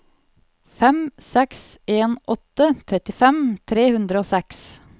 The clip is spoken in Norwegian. fem seks en åtte trettifem tre hundre og seks